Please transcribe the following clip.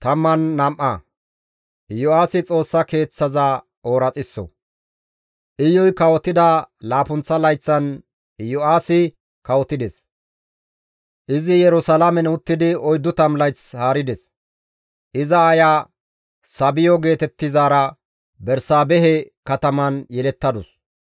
Iyuy kawotida laappunththa layththan Iyo7aasi kawotides; izi Yerusalaamen uttidi 40 layth haarides; iza aaya Sabiyo geetettizaara Bersaabehe kataman yelettadus.